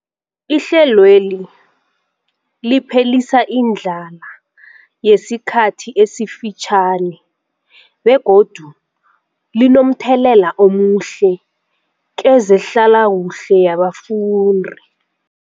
Ihlelweli liphelisa indlala yesikhathi esifitjhani begodu linomthelela omuhle kezehlalakuhle yabafundi.